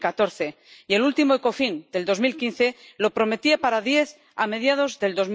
2014. Y el último Ecofin de 2015 lo prometía para diez a mediados de